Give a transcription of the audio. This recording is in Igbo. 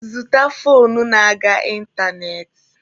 Zụta foonu na-aga ịntanetị!